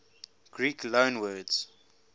greek loanwords